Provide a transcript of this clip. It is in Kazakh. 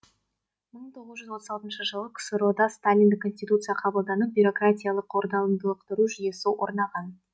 мың тоғыз жүз отыз алтыншы жылы ксро да сталиндік конституция қабылданып бюрократиялық орталықтандыру жүйесі орнаған